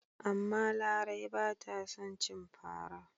Amma Lami ba ta son cin fara.